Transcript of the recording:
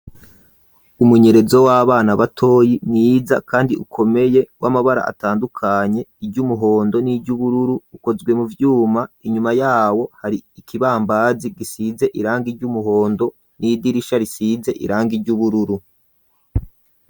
Umunyerezo, w'abana batoyi mwiza, kandi ukomeye, w'amabara atandukanye; iry'umuhondo, n'iry'ubururu, ukozwe mu vyuma; inyuma yawo, hari ikibambazi, gisize irangi ry’umuhondo, n'idirisha risize irangi ry'ubururu.